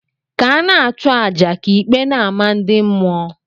Ka ana achu aja, ka ikpe n' amah ndi mmuo.